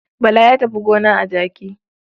Bala ya tafi gona a jaki.